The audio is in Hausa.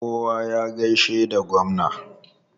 Kowa ya gaishe da gwamna!